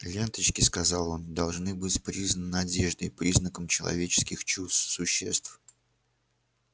ленточки сказал он должны быть признаны одеждой признаком человеческих чувств существ